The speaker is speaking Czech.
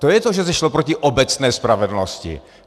To je to, že se šlo proti obecné spravedlnosti.